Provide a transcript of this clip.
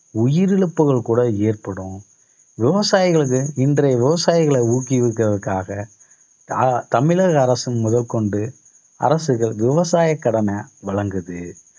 உயிரிழப்புகள் கூட ஏற்படும். விவசாயிகளுக்கு இன்றைய விவசாயிகளை ஊக்குவிக்கிறதுக்காக த~ தமிழக அரசு முதற்கொண்டு அரசுகள் விவசாய கடன வழங்குது